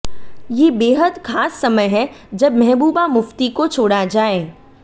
ये बेहद खास समय है जब महबूबा मुफ्ती को छोड़ा जाए